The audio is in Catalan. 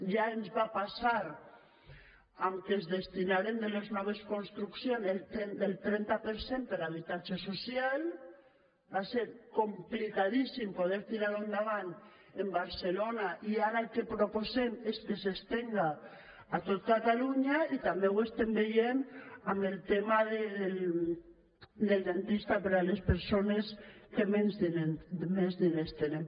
ja ens va passar amb que es destinés de les noves construccions el trenta per cent a habitatge social serà complicadíssim poder tirar ho endavant en barcelona i ara el que proposem és que s’estenga a tot catalunya i també ho estem veient amb el tema del dentista per a les persones que menys diners tenen